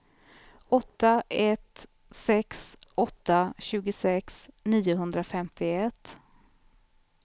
åtta ett sex åtta tjugosex niohundrafemtioett